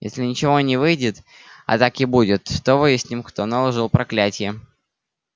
если ничего не выйдет а так и будет то выясним кто наложил проклятие